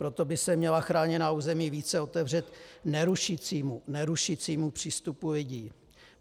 Proto by se měla chráněná území více otevřít nerušícímu přístupu lidí.